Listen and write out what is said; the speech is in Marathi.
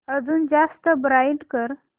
अजून जास्त ब्राईट कर